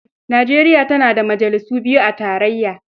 Nijeriya tana da majalisu biyu a tarayya.